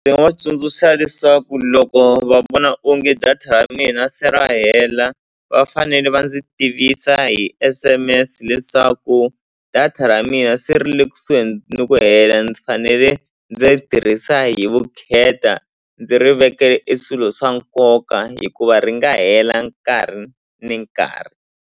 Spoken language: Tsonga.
Ndzi nga va tsundzuxa leswaku loko va vona onge data ra mina se ra hela va fanele va ndzi tivisa hi S_M_S leswaku data ra mina se ri le kusuhi ni ku hela ndzi fanele ndzi tirhisa hi vukheta ndzi ri vekele e swilo swa nkoka hikuva ri nga hela nkarhi ni nkarhi.